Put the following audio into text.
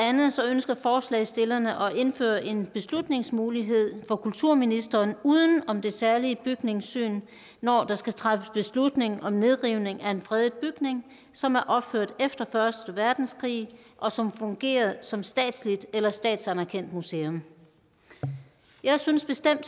ønsker forslagsstillerne at indføre en beslutningsmulighed for kulturministeren uden om det særlige bygningssyn når der skal træffes beslutning om nedrivning af en fredet bygning som er opført efter første verdenskrig og som fungerer som statsligt eller statsanerkendt museum jeg synes bestemt